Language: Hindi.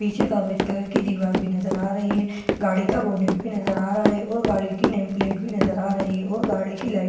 पीछे सफेद कलर की दीवार भी नजर आ रही है गाड़ी का बोनट भी नजर आ रहा है और गाड़ी की नेम प्लेट भी नजर आ रही है और गाड़ी की लाइटें भी नजर आ रही है।